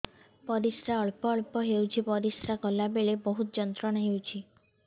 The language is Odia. ପରିଶ୍ରା ଅଳ୍ପ ଅଳ୍ପ ହେଉଛି ପରିଶ୍ରା କଲା ବେଳେ ବହୁତ ଯନ୍ତ୍ରଣା ହେଉଛି